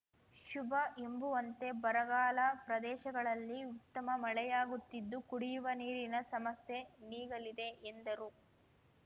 ಶುಭ ಎಂಬುವಂತೆ ಬರಗಾಲ ಪ್ರದೇಶಗಳಲ್ಲಿ ಉತ್ತಮ ಮಳೆಯಾಗುತ್ತಿದ್ದು ಕುಡಿಯುವ ನೀರಿನ ಸಮಸ್ಯೆ ನೀಗಲಿದೆ ಎಂದರು